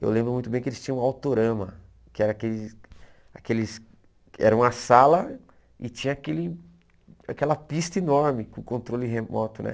Eu lembro muito bem que eles tinham um autorama, que era aqueles aqueles era uma sala e tinha aquele aquela pista enorme com controle remoto, né?